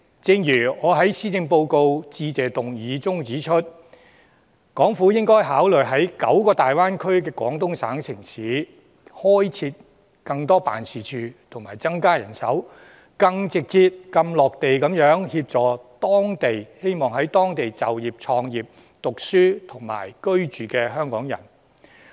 正如我在施政報告致謝議案中指出，港府應該考慮在大灣區內廣東省的9個城市裏開設更多辦事處，增加人手，更直接、更"落地"地協助希望在當地就業、創業、讀書和居住的香港人。